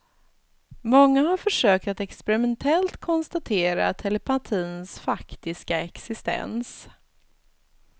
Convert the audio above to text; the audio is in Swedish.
Många har försökt att experimentellt konstatera telepatins faktiska existens.